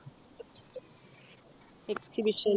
Exhibition